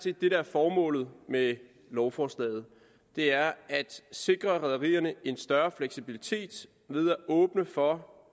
formålet med lovforslaget er at sikre rederierne en større fleksibilitet ved at åbne for